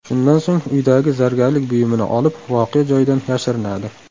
Shundan so‘ng uydagi zargarlik buyumini olib, voqea joyidan yashirinadi.